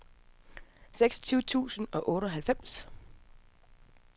seksogtyve tusind og otteoghalvfems